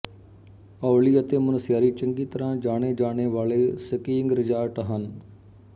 ਔਲੀ ਅਤੇ ਮੁਨਸਿਆਰੀ ਚੰਗੀ ਤਰ੍ਹਾਂ ਜਾਣਿਏ ਜਾਣੇ ਵਾਲੇ ਸਕੀਇੰਗ ਰਿਜ਼ਾਰਟ ਹਨ